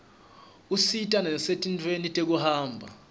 usita nasetintfweni tekuhamba